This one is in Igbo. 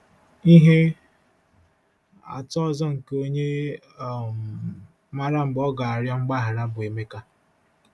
Ihe atụ ọzọ nke onye um maara mgbe ọ ga-arịọ mgbaghara bụ Emeka.